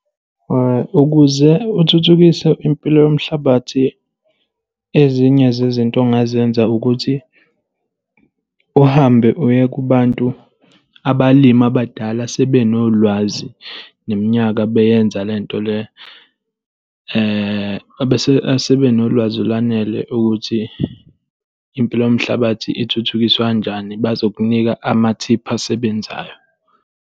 Ukuze uthuthukise impilo yomhlabathi, ezinye zezinto ongazenza ukuthi uhambe uye kubantu, abalimi abadala asebenolwazi neminyaka beyenza le nto le, asebenolwazi olwanele ukuthi impilo yomhlabathi ithuthukiswa kanjani. Bazokunika amathiphu asebenzayo.